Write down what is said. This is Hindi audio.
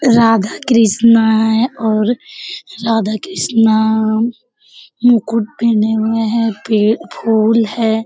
राधा कृष्णा है और राधा कृष्णा मुकुट पेहने हुए हैं। पे फूल है।